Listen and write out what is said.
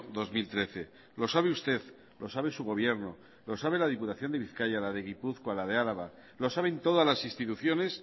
dos mil trece lo sabe usted lo sabe su gobierno lo sabe la diputación de bizkaia la de gipuzkoa la de álava lo saben todas las instituciones